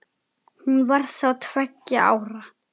Hún var þá tveggja ára.